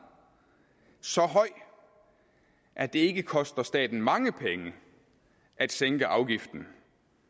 så høj at det ikke koster staten mange penge at sænke afgiften